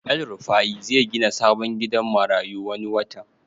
El rufai zai gina sabon gidan marayu wani watan